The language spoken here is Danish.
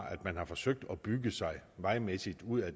at man har forsøgt at bygge sig vejmæssigt ud af